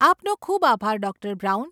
આપનો ખૂબ આભાર, ડૉ. બ્રાઉન.